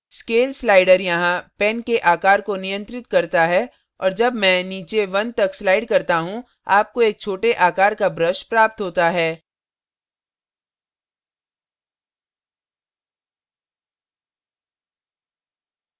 scale slider यहाँ pen के आकार को नियंत्रित करता है और जब मैं नीचे 1 तक slider करता हूँ आपको एक छोटे आकार का brush प्राप्त होता है